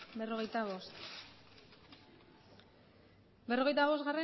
berrogeita bostgarrena